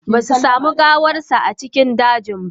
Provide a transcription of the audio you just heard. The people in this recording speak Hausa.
Ba su sami gawarsa a cikin dajin ba.